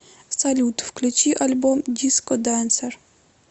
салют включи альбом диско денсер